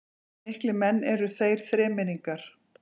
Miklir menn eru þeir þremenningar